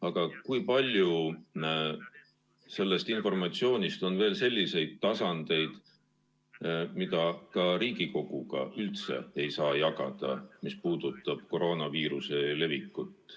Aga kui palju sellest informatsioonist, mis puudutab koroonaviiruse levikut Eestis, on veel selliseid tasandeid, mida ka Riigikoguga üldse jagada ei saa?